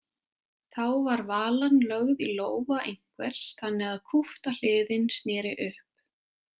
Þá var valan lögð í lófa einhvers þannig að kúpta hliðin sneri upp.